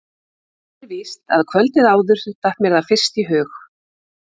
Hitt er víst að kvöldið áður datt mér það fyrst í hug.